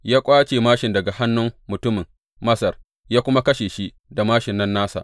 Ya ƙwace māshin daga hannun mutumin Masar ya kuma kashe shi da māshin nan nasa.